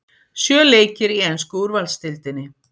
Sjö leikir í ensku úrvalsdeildinni